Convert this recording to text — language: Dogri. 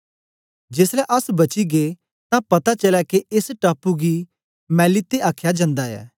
जेसलै अस बची गै तां पता चलया के एस टापू गी मैलीते आखया जंदा ऐ